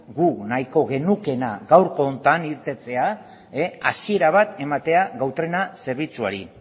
guk nahiko genukeena gaurko honetan irtetea hasiera bat ematea gau trena zerbitzuari